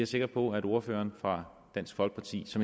sikker på at ordføreren fra dansk folkeparti